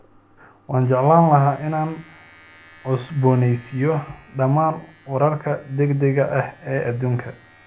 Waxaan jeclaan lahaa inaan cusboonaysiiyo dhammaan wararka degdegga ah ee adduunka